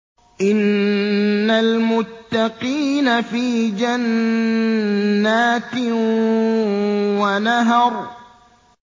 إِنَّ الْمُتَّقِينَ فِي جَنَّاتٍ وَنَهَرٍ